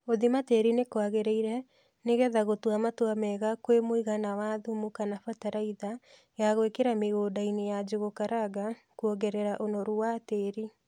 Guthima tïri nïkwagïrïire nïgetha gûtua matua mega kwïmûigana wa thumu kana bataraitha ya gwïkïra mïgûndainï ya Njūgū karanga kûongerera ûnoru wa tïri.